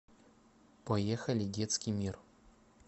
поехали детский мир